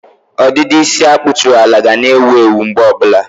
ọdịdị isi a kpụtụrụ ala ga na-ewu ewu mgbe ọbụla.